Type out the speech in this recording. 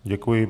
Děkuji.